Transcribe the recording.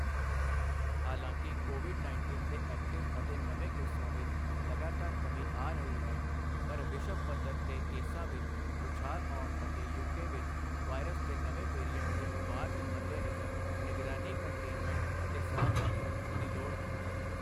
ਹਾਲਾਂਕਿ ਕੋਵਿਡ ਉੱਨੀ ਦੇ ਐਕਟਿਵ ਅਤੇ ਨਵੇਂ ਕੇਸਾਂ ਵਿੱਚ ਲਗਾਤਾਰ ਕਮੀ ਆ ਰਹੀ ਹੈ ਪਰ ਵਿਸ਼ਵ ਪੱਧਰ ਤੇ ਕੇਸਾਂ ਵਿੱਚ ਉਛਾਲ ਆਉਣ ਅਤੇ ਯੂ ਕੇ ਵਿੱਚ ਵਾਇਰਸ ਦੇ ਨਵੇਂ ਵੈਰੀਏਂਟ ਦੇ ਉਭਾਰ ਦੇ ਮੱਦੇਨਜ਼ਰ ਨਿਗਰਾਨੀ ਕੰਟੇਨਮੈਂਟ ਅਤੇ ਸਾਵਧਾਨੀ ਰੱਖਣ ਦੀ ਲੋੜ ਹੈ।